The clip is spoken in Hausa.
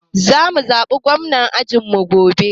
Za mu zaɓa gwamnar ajin mu gobe.